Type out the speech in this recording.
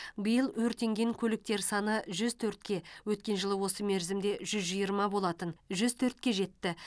биыл өртенген көліктер саны жүз төртке өткен жылы осы мерзімде жүзжиырма болатын жүз төртке жетті